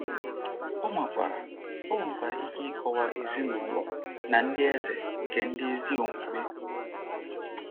Ọ nwekwara Ọ nwekwara ike ịkọwa ezinụlọ na ndị eze nke ndị ezi omume.